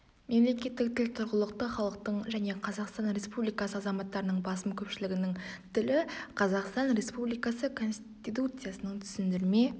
мемлекеттік тіл тұрғылықты халықтың және қазақстан республикасы азаматтарының басым көпшілігінің тілі қазақстан республикасы конституциясының түсіндірме